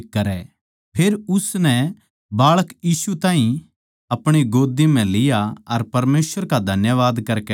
फेर शमौन नै बाळक यीशु ताहीं अपणी गोद्दी म्ह लिया अर परमेसवर का धन्यवाद करकै कह्या